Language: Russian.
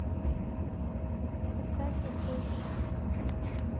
поставь замбези